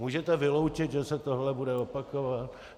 Můžete vyloučit, že se toto bude opakovat?